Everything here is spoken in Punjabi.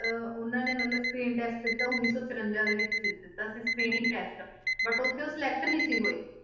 ਅਹ ਉਹਨਾਂ ਦੇ ਮਤਲਬ screen test ਦਿੱਤਾ ਉੱਨੀ ਸੌ ਚੁਰੰਜਾ ਦੇ ਵਿੱਚ ਦਿੱਤਾ ਸੀ screening test but ਉੱਥੇ ਉਹ select ਨੀ ਸੀ ਹੋਏ,